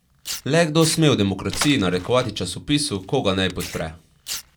Le kdo sme v demokraciji narekovati časopisu, koga naj podpre.